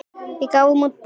Við gáfum út bók.